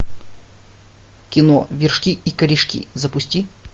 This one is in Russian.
кино вершки и корешки запусти